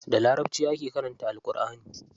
Da larabci ake karanta Alƙurʼani.